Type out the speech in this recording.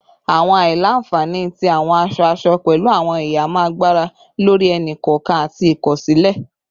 Awọn aila-nfani ti awọn aṣọ-aṣọ pẹlu awọn ihamọ agbara lori ẹni-kọọkan ati ikosile